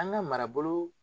An ka marabolo